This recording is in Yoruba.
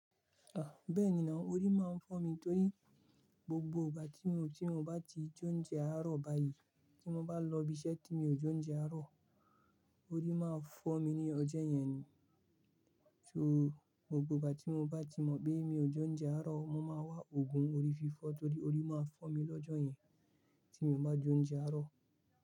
À, bẹ́ẹ̀ni ná. Orí máa ń fọ́ mi torí gbogbo ìgbà tí mo, tí mo bá ti jẹ oúnjẹ àárọ̀ báyìí, tí mo bá lọ ibi iṣẹ́ tí mi ò jẹ oúnjẹ àárọ̀, orí máa fọ́ mi ní ọjọ́ yẹn ni. So gbogbo ìgbà tí mo bá ti mọ̀ pé mi ò jẹ oúnjẹ àárọ̀, mo máa wá òògùn orí fífọ́ torí orí máa fọ́ mi lọ́jọ́ yẹn tí mi o bá jẹ oúnjẹ àárọ̀